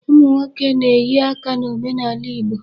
Ụmụ nnwoke na-eyi aka n'omenaala Igbo.